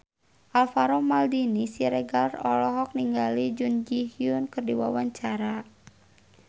Alvaro Maldini Siregar olohok ningali Jun Ji Hyun keur diwawancara